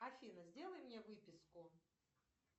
афина сделай мне выписку